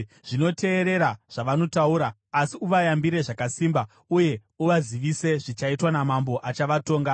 Zvino, teerera zvavanotaura; asi uvayambire zvakasimba uye uvazivise zvichaitwa namambo achavatonga.”